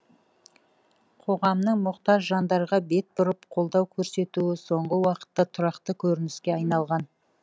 қоғамның мұқтаж жандарға бет бұрып қолдау көрсетуі соңғы уақытта тұрақты көрініске айналған